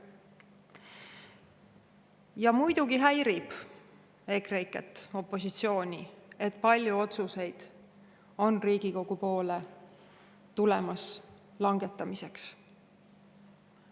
Ja muidugi häirib EKREIKE-t, opositsiooni, et Riigikogu poole on tulemas langetamiseks palju otsuseid.